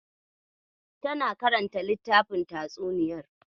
Tana karanta littafin tatsuniyar.